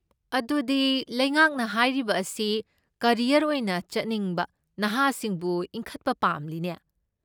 ꯑꯗꯨꯗꯤ ꯂꯩꯉꯥꯛꯅ ꯍꯥꯏꯔꯤꯕ ꯑꯁꯤ ꯀꯦꯔꯤꯌꯔ ꯑꯣꯏꯅ ꯆꯠꯅꯤꯡꯕ ꯅꯍꯥꯁꯤꯡꯕꯨ ꯏꯟꯈꯠꯄ ꯄꯥꯝꯂꯤꯅꯦ꯫